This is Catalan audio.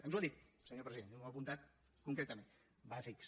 ens ho ha dit senyor president ho he apuntat concretament bàsics